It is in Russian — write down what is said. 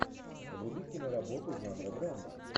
вруби киноработу жанра драма